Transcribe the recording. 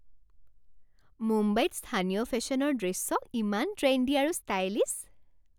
মুম্বাইত স্থানীয় ফেশ্বনৰ দৃশ্য ইমান ট্ৰেণ্ডি আৰু ষ্টাইলিছ।